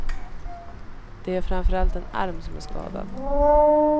Det är framför allt en arm som är skadad.